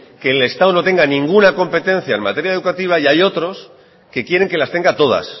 que el estado no tenga ninguna competencia en materia educativa y hay otros que quieren que las tenga todas